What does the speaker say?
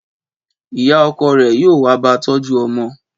Ìyá okò rè yóò wá ba tójú omo